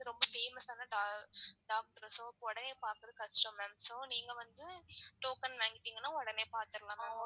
ரொம்ப famous ஆன doc doctors so உடனே பாக்குறது கஷ்டம் ma'am so நீங்க வந்து token வாங்கிடீங்கனா ஒடனே பாத்துரலாம் ma'am